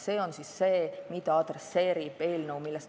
Sellest räägib täna arutatav eelnõu.